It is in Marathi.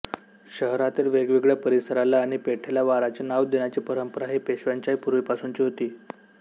शहरातील वेगवेगळ्या परिसराला आणि पेठेला वाराचे नाव देण्याची पंरपंरा ही पेशव्यांच्याही पूर्वी पासूनची होती